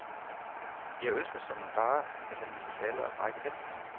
Jeg ønsker såmænd bare, at han ville falde og brække halsen.